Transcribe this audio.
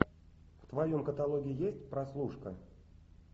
в твоем каталоге есть прослушка